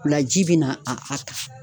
O la ji bina a a a kan